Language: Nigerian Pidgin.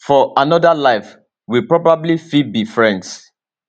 for anoda life we probably fit be friends